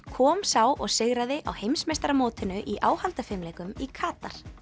kom sá og sigraði á heimsmeistaramótinu í áhaldafimleikum í Katar